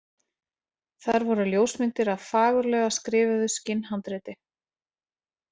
Þar voru ljósmyndir af fagurlega skrifuðu skinnhandriti.